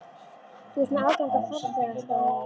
Þú ert með aðgang að farþegaskránni.